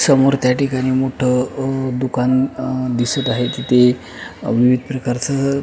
समोर त्या ठिकाणी मोठ अ दुकान अ दिसत आहे अ तिथे विविध प्रकारच --